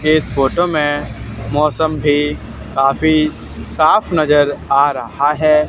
एक फोटो में मौसम भी काफी साफ नजर आ रहा है।